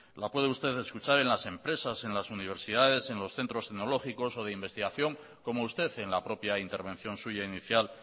la puede usted escuchar en las empresas en las universidades en los centros tecnológicos o de investigación como usted en la propia intervención suya inicial